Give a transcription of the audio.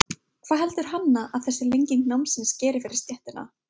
Hvað heldur Hanna að þessi lenging námsins geri fyrir stéttina?